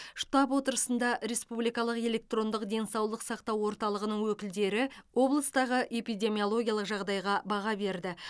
штаб отырысында республикалық электрондық денсаулық сақтау орталығының өкілдері облыстағы эпидемиологиялық жағдайға баға берді